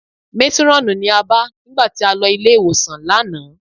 Métírọ́ọ̀nù ni a bá nígbà tí a lọ ilé-ìwòsàn lánàá